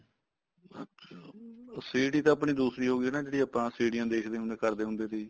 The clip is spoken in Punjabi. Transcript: ਅੱਛਿਆ CD ਤਾਂ ਆਪਣੀ ਦੂਸਰੀ ਹੋਗੀ ਜਿਹੜੀ ਆਪਾਂ ਸੀਡੀਆਂ ਦੇਖਦੇ ਹੁੰਦੇ ਸੀ ਕਰਦੇ ਹੁੰਦੇ ਸੀ